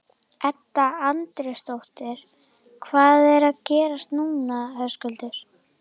Edda Andrésdóttir: Hvað er að gerast núna Höskuldur?